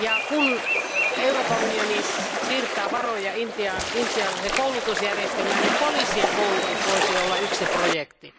Kun Euroopan unioni siirtää varoja Intiaan, intialaiseen koulutusjärjestelmään, niin poliisien koulutus voisi olla yksi projekti.